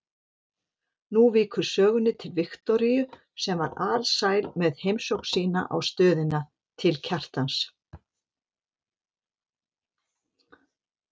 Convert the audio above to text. Nú víkur sögunni til Viktoríu sem var alsæl með heimsókn sína á stöðina til Kjartans.